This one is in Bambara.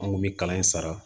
An kun bɛ kalan in sara